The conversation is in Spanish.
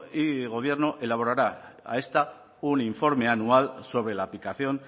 y gobierno elaborará a esta un informe anual sobre la aplicación